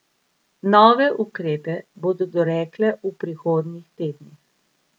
Nove ukrepe bodo dorekle v prihodnjih tednih.